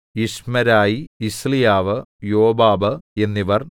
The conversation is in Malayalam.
യിശ്മെരായി യിസ്ലീയാവ് യോബാബ് എന്നിവർ